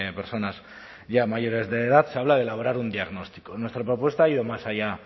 personas ya mayores de edad se habla de elaborar un diagnóstico nuestra propuesta ha ido más allá